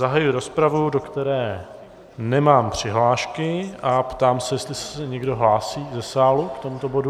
Zahajuji rozpravu, do které nemám přihlášky, a ptám se, jestli se někdo hlásí ze sálu k tomuto bodu.